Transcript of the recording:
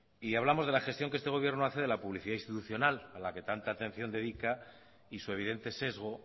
y hablamos de la gestión que este gobierno de la publicidad institucional a la que tanta atención dedica y su evidente sesgo